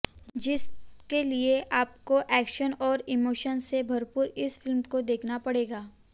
जिसके लिए आपको एक्शन और इमोशन से भरपूर इस फिल्म को देखना पड़ेगा